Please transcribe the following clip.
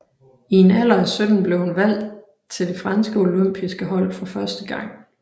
I en alder af 17 blev hun valgt til det franske olympiske hold for første gang